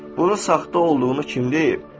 Bunun saxta olduğunu kim deyib?